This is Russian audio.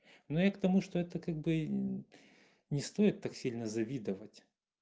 ну я к тому что это как бы не стоит так сильно завидовать